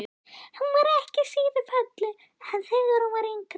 Hún var ekki síður falleg en þegar hún var yngri.